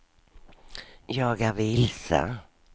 jag är vilse